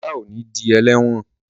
Ola o ní dì eléwòn